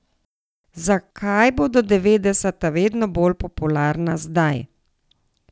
Zakaj bodo devetdeseta vedno bolj popularna zdaj?